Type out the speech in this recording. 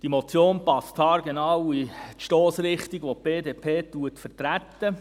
Die Motion passt haargenau in die Stossrichtung, welche die BDP vertritt.